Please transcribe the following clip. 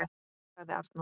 sagði Arnór.